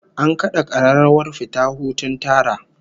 An kada kararrawar fita hutun tara